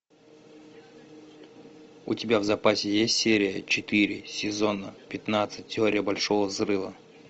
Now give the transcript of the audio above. у тебя в запасе есть серия четыре сезона пятнадцать теория большого взрыва